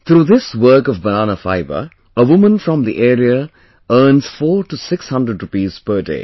Through this work of Banana fibre, a woman from the area earns four to six hundred rupees per day